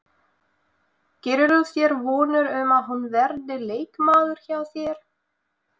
Gerirðu þér vonir um að hún verði leikmaður hjá þér?